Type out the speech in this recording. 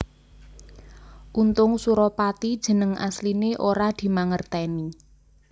Untung Suropati jeneng asliné ora dimangertèni